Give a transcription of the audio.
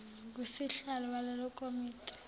ngusihlalo walelo komiti